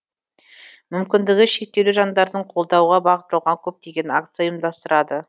мүмкіндігі шектеулі жандарды қолдауға бағытталған көптеген акция ұйымдастырады